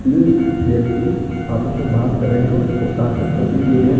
तीन व्यक्ति आपस में बात कर रहे है और में कॉफी पी रहे--